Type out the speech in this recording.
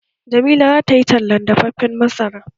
Jamila za tayi talan dafaffen masara?